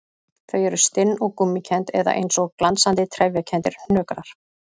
Þau eru stinn og gúmmíkennd eða eins og glansandi, trefjakenndir hnökrar.